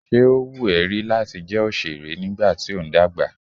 Ṣé ó wù ẹ́ rí láti jẹ́ òṣèré nígbà tí ó ń dàgbà?